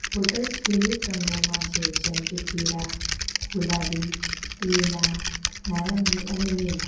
Bottles વિવિધ રંગોમાં છે જેમ કે પીરા ગુલાબી લીલા નારંગી અને લીલા.